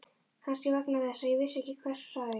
Kannski vegna þess að ég vissi ekki hver sagði.